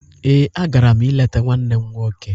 Ee, a gara m ileta nwanne m nwoke.